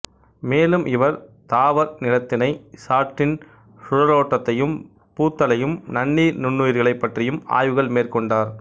மேலும் இவர் தாவர் நிலைத்திணை சாற்றின் சுழலோட்டத்தையும் பூத்தலையும் நன்னீர் நுண்ணுயிரிகளைப் பற்றியும் ஆய்வுகள் மேற்கொண்டார்